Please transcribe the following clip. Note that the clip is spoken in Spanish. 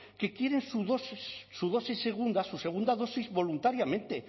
que quieren su dosis su dosis segunda su segunda dosis voluntariamente